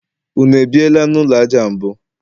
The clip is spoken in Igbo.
unu ebiela n'ụlọ aja mbụ?